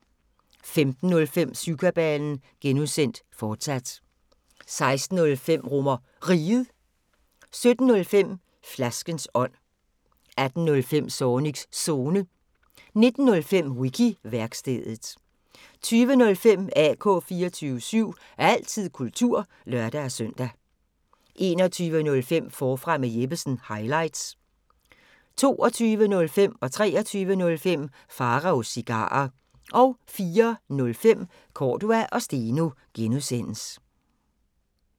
15:05: Syvkabalen (G), fortsat 16:05: RomerRiget 17:05: Flaskens ånd 18:05: Zornigs Zone 19:05: Wiki-værkstedet 20:05: AK 24syv – altid kultur (lør-søn) 21:05: Forfra med Jeppesen – highlights 22:05: Pharaos Cigarer 23:05: Pharaos Cigarer 04:05: Cordua & Steno (G)